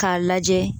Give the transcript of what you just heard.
K'a lajɛ